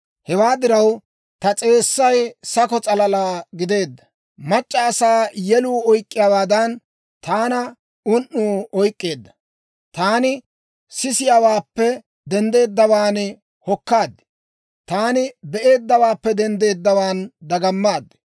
Hewaa diraw, ta s'eessay sakko s'alalaa gideedda; mac'c'a asaa yeluu oyk'k'iyaawaadan, taana un"uu oyk'k'eedda; taani sisiyaawaappe denddeeddawaan hokkaad; taani be'eeddawaappe denddeeddawaan dagamaad.